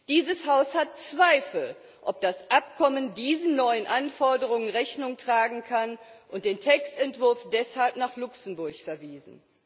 Dieses Haus hat Zweifel, ob das Abkommen diesen neuen Anforderungen Rechnung tragen kann, und hat den Textentwurf deshalb nach Luxemburg verwiesen.